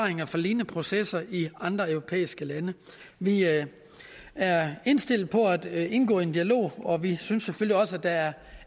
lignende processer i andre europæiske lande vi er indstillet på at indgå i en dialog og vi synes selvfølgelig også at der er